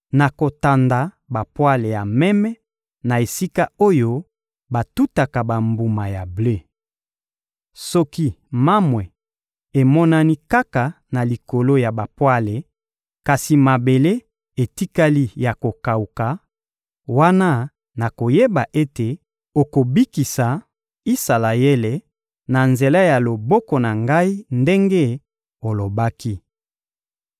nakotanda bapwale ya meme na esika oyo batutaka bambuma ya ble. Soki mamwe emonani kaka na likolo ya bapwale kasi mabele etikali ya kokawuka, wana nakoyeba ete okobikisa Isalaele na nzela ya loboko na ngai ndenge olobaki.»